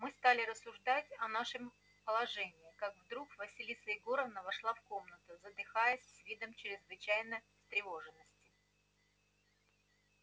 мы стали рассуждать о нашем положении как вдруг василиса егоровна вошла в комнату задыхаясь и с видом чрезвычайно встревоженным